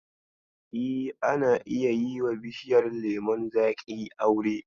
E, ana iya yiwa bishiyar lemon zaƙi aure.